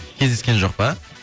кездескен жоқ па